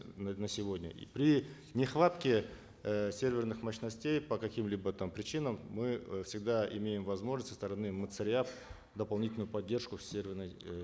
на на сегодня при нехватке э серверных мощностей по каким либо там причинам мы э всегда имеем возможность со стороны дополнительную поддержку в серверной эээ